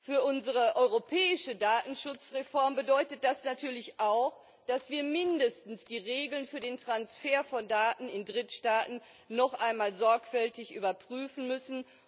Für unsere europäische Datenschutzreform bedeutet das natürlich auch, dass wir mindestens die Regeln für den Transfer von Daten in Drittstaaten noch einmal sorgfältig überprüfen müssen.